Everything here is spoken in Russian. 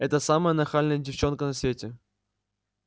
это самая нахальная девчонка на свете